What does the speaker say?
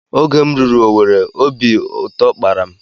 Oge m ruru Owere obi ụtọ kpara m